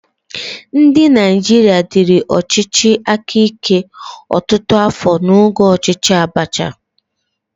Ndị Naijiria diri ọchịchị aka ike ọtụtụ afọ n'oge ọchịchị Abacha.